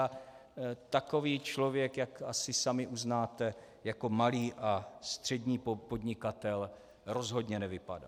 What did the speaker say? A takový člověk, jak asi sami uznáte, jako malý a střední podnikatel rozhodně nevypadá.